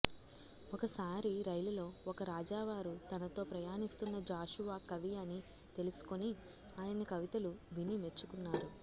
ఒక సారి రైలులో ఒక రాజావారు తనతో ప్రయాణిస్తున్న జాషువా కవి అని తెలుసుకుని ఆయన కవితలు విని మెచ్చుకున్నారు